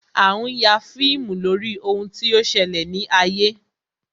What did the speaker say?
A ń ya fíìmù lórí ohun tí ó ṣẹlẹ̀ ní ayé